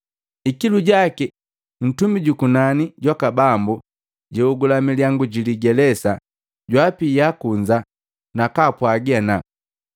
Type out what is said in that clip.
Ikilu jaki Ntumi jukunani jwaka Bambu jaogula milyangu jiligeleza, jwaapia kunza na kwaapwagi ana,